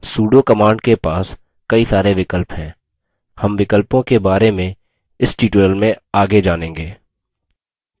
sudo command के पास कई सारे विकल्प हैं हम विकल्पों के बारे इस tutorial में आगे जानेंगे